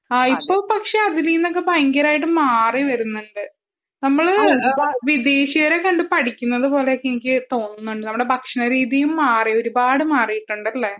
പക്ഷെ അതിലിന്നൊക്കെ ഒരുപാട് മാറിവരുന്നുണ്ട് . നമ്മൾ വിദേശിയരെ കണ്ടു പഠിക്കുന്നത് പോലെയൊക്കെ എനിക്ക് തോന്നുന്നുണ്ട് നമ്മുടെ ഭക്ഷണരീതിയും ഒരു പാട് മാറിയിട്ടുണ്ട് അല്ലെ